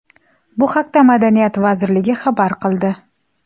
Bu haqda Madaniyat vazirligi xabar qildi.